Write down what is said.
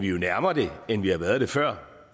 jo nærmere end vi har været det før